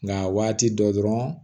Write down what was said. Nka waati dɔ dɔrɔn